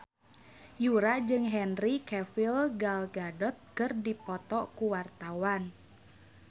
Yura jeung Henry Cavill Gal Gadot keur dipoto ku wartawan